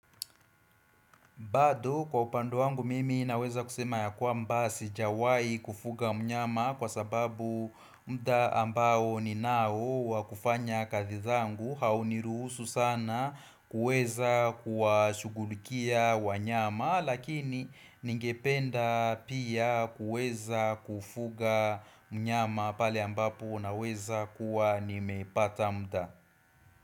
Bado kwa upande wangu mimi naweza kusema ya kwamba sijawai kufuga mnyama kwa sababu muda ambao ni nao wakufanya kazi zangu hauniruhusu sana kuweza kuwashughulikia wanyama lakini ningependa pia kuweza kufuga mnyama pale ambapo naweza kuwa nimepata muda.